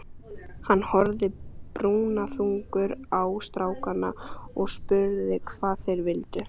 Hann horfði brúnaþungur á strákana og spurði hvað þeir vildu.